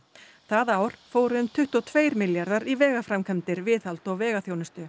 það ár fóru um tuttugu og tveir milljarðar í vegaframkvæmdir viðhald og